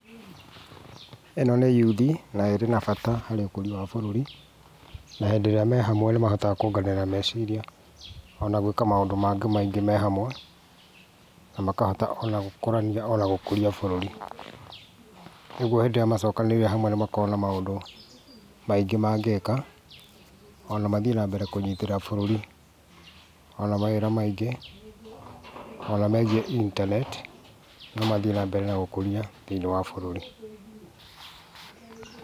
Ĩno nĩ yuthi na ĩrĩ na bata harĩ ũkũria wa bũrũri, na hĩndĩ ĩrĩa me hamwe nĩahotaga kuonganĩrĩra meciria ona gwĩka maũndũ mangĩ maingĩ me hamwe, na makahota gũkũrania ona gũkũria bũrũri. Ũguo hĩndĩ ĩria macokanĩrĩire hamwe nĩmakoragwo na maũndũ maingĩ mangĩka ona mathiĩ na mbere na kũnyitĩrĩra bũrũri. Ona mawĩra maingĩ ona megiĩ internet no mathiĩ na mbere na ũkũria thĩinĩ wa bũrũri.